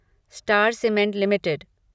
star Cement limited